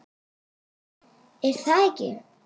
er það ekki?